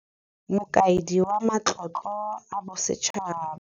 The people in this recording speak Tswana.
Mokaedi wa Matlotlo a Bo setšhaba.